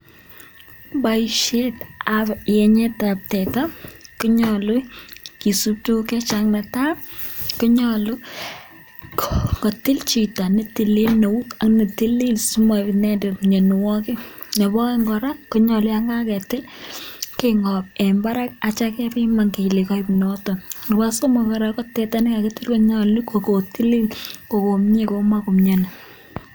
Boishetab yenyetab teta konyolu kisub tuguk che chang, ne tai: konyolu kotil chito ne tilil eut ak ne tilil asi moib inendet minawogik. Nebo oeng kora konyolu yon kagetil, keng'ob en barak ak ityo kebiman kele koib noton. Nebo somok kora, ko teta ne kagitil konyolu kogotili kogomye komakomyoni.